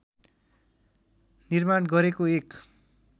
निर्माण गरेको एक